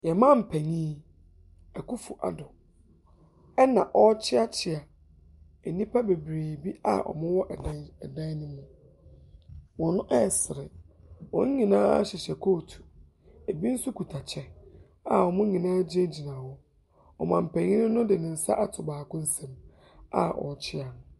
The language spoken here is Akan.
Yɛn mampanin Akuffo Addo na ɔrekyeakyea nnipa bebree bi a wɔwɔ ɛdan ɛdan no mu. Wɔresere. Wɔn nyinaa hyehyɛ coat. Ɛbi nso kita kyɛ a wɔn nyinaa gyingyina hɔ. Ɔmampanin no de ne nsa ato baako nsam a ɔrekyea no.